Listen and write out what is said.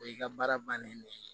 O y'i ka baara bannen ye ne